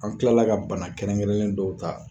An tilala ka bana kɛrɛnkɛrɛnnen dɔw ta